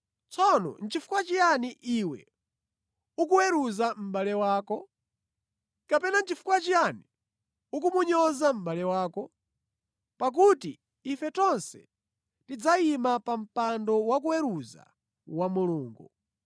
Tsono nʼchifukwa chiyani iwe ukuweruza mʼbale wako? Kapena nʼchifukwa chiyani ukumunyoza mʼbale wako? Pakuti ife tonse tidzayima pa mpando wakuweruza wa Mulungu.